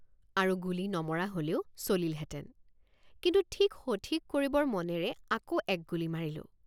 আৰু গুলী নমৰা হলেও চলিলহেঁতেন কিন্তু ঠিক সঠিক কৰিবৰ মনেৰে আকৌ এক গুলী মাৰিলোঁ।